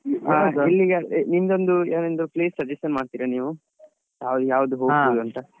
ನಿಮಗೊಂದು ನೀವ್ ಒಂದು place suggestion ಮಾಡ್ತಿರಾ ನೀವು ನಾವ್ ಯಾವ್ದು ಅಂತ.